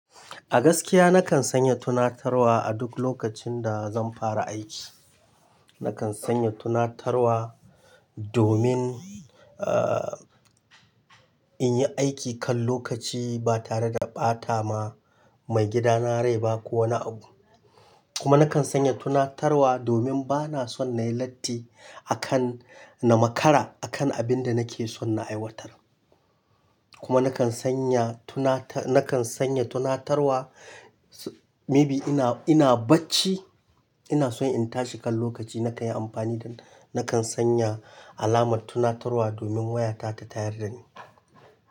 A gaskiya nakan sanya tunatarwa a duk lokacin da zan fara aiki. Nakan sanya tunatarwa domin, ah, in yi aiki kan lokaci ba tare da ɓata ma mai gidana rai ba ko wani abu. Kuma nakan sanya tunatarwa domin bana son na yi latti, akan na makara akan abin da nake son na aiwatar. Kuma nakan sanya tunata nakan sanya tunatarwa maybe ina, ina barci. Ina son in tashi kan lokaci nakan yi amfani da, nakan sanya alamar tunatarwa domin wayata ta tayar da ni.